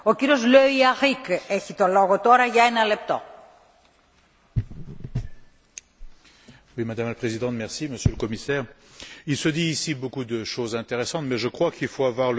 Madame la Présidente, Monsieur le Commissaire, il se dit beaucoup de choses intéressantes ici, mais je crois qu'il faut avoir le courage de remettre en cause les critères mêmes sur lesquels est fondée l'Union européenne aujourd'hui.